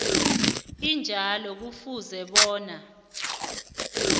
enjalo kufuze bona